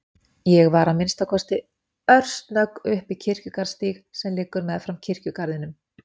Ég var að minnsta kosti örsnögg upp á Kirkjugarðsstíg sem liggur meðfram kirkjugarðinum.